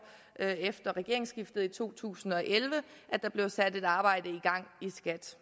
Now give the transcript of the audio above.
efter regeringsskiftet i to tusind og elleve blev sat et arbejde i skat